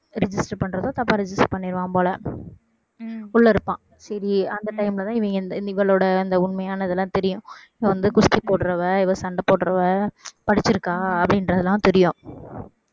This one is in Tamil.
register பண்றதும் தப்பா register பண்ணிடுவான் போல உள்ள இருப்பான் சரி அந்த time ல தான் இவன் இவளோட அந்த உண்மையானதெல்லாம் தெரியும் வந்து குஸ்தி போடறவ இவ சண்டை போடறவ படிச்சிருக்கா அப்படின்றதெல்லாம் தெரியும்